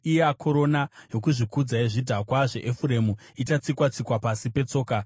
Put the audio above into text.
Iya korona, yokuzvikudza yezvidhakwa zveEfuremu, ichatsikwa-tsikwa pasi petsoka.